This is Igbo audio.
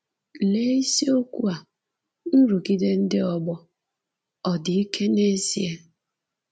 Lee isiokwu a “ Nrụgide Ndị Ọgbọ" — Ọ Dị Ike n’Ezie? ”